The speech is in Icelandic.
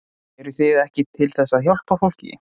Eruð þið ekki til þess að hjálpa fólki?